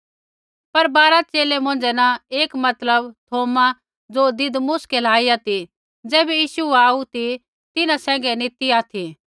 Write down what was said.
पर बारा च़ेले मौंझ़ै न एक मतलब थौमा ज़ो दिदमुस कलाईया ती ज़ैबै यीशु आऊ ती तिन्हां सैंघै नी ती ऑथि